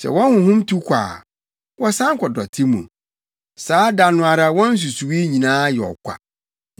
Sɛ wɔn honhom tu kɔ a, wɔsan kɔ dɔte mu, saa da no ara wɔn nsusuwii nyinaa yɛ ɔkwa.